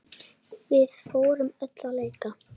Við fórum öll að leika.